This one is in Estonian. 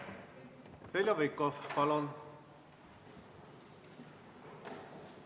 Heljo Pikhof, palun!